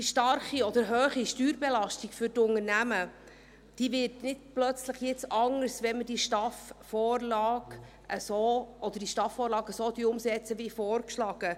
Die starke oder hohe Steuerbelastung für die Unternehmen wird nun nicht plötzlich anders, wenn wir diese STAF-Vorlage so umsetzen wie vorgeschlagen.